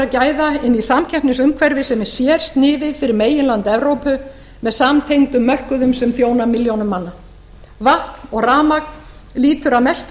gæða inn í samkeppnisumhverfi sem er sérsniðið fyrir meginland evrópu meðsamtengdum mörkuðum sem þjóna milljónum manna vatn og rafmagn lýtur að mestu